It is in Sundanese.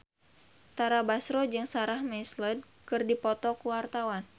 Tara Basro jeung Sarah McLeod keur dipoto ku wartawan